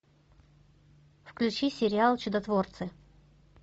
включи сериал чудотворцы